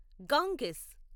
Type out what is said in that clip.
Ganges